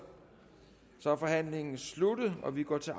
så er forhandlingen sluttet og vi går til